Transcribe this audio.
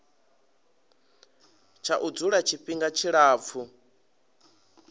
tsha u dzula tshifhinga tshilapfu